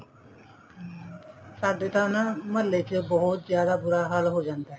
ਸਾਡੇ ਤਾਂ ਮਹੱਲੇ ਚ ਬਹੁਤ ਜ਼ਿਆਦਾ ਬੁਰਾ ਹਾਲ ਹੋ ਜਾਂਦਾ